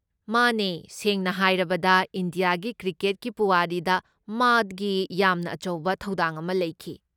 ꯃꯥꯅꯦ ꯁꯦꯡꯅ ꯍꯥꯏꯔꯕꯗ ꯏꯟꯗꯤꯌꯥꯒꯤ ꯀ꯭ꯔꯤꯀꯦꯠꯀꯤ ꯄꯨꯋꯥꯔꯤꯗ ꯃꯥꯒꯤ ꯌꯥꯝꯅ ꯑꯆꯧꯕ ꯊꯧꯗꯥꯡ ꯑꯃ ꯂꯩꯈꯤ꯫